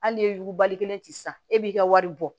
Hali n'i ye yugubali kelen ci sisan e b'i ka wari bɔ